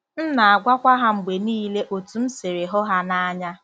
M na-agwakwa ha mgbe niile otú m siri hụ ha n’anya.